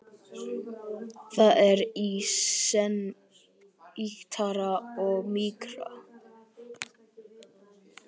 Það er í senn ýktara og mýkra.